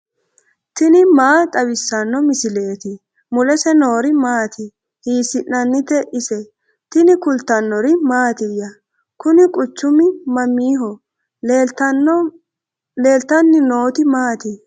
tini maa xawissanno misileeti ? mulese noori maati ? hiissinannite ise ? tini kultannori mattiya? Kunni quchummi mamiho? leelittanni nootti maati?